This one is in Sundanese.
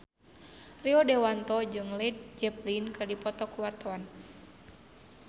Rio Dewanto jeung Led Zeppelin keur dipoto ku wartawan